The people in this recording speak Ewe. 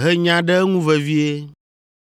he nya ɖe eŋu vevie.